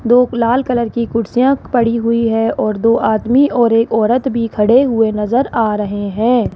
दो लाल कलर की कुर्सियां पड़ी हुई है और दो आदमी और एक औरत भी खड़े हुए नजर आ रहे हैं।